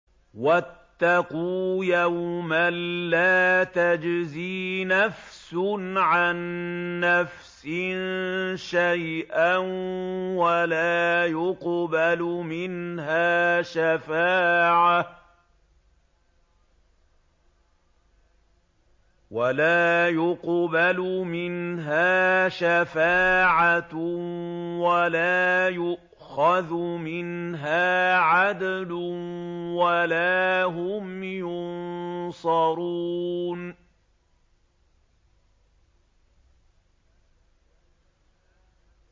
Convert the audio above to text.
وَاتَّقُوا يَوْمًا لَّا تَجْزِي نَفْسٌ عَن نَّفْسٍ شَيْئًا وَلَا يُقْبَلُ مِنْهَا شَفَاعَةٌ وَلَا يُؤْخَذُ مِنْهَا عَدْلٌ وَلَا هُمْ يُنصَرُونَ